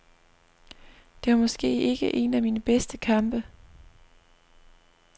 Det var måske ikke en af mine bedste kampe.